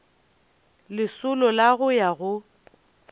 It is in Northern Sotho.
lesolo la go ya go